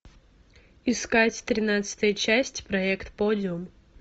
искать тринадцатая часть проект подиум